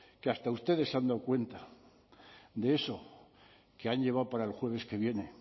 que hasta ustedes se han dado cuenta de eso que han llevado para el jueves que viene